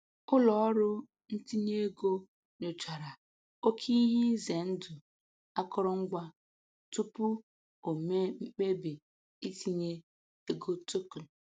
Ụlọọrụ ntinye ego nyochara oke ihe ize ndụ akụrụngwa tupu o mee mkpebi itinye ego token.